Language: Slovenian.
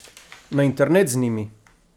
Na internet z njimi!